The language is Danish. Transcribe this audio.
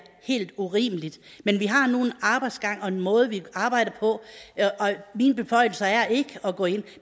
helt urimeligt men vi har nu en arbejdsgang og en måde vi arbejder på og mine beføjelser er ikke at gå ind